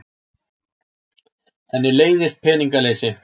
Henni leiðist peningaleysi.